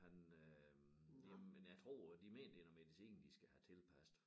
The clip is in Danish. Han øh jamen jamen jeg tror de mener det noget medicin de skal have tilpasset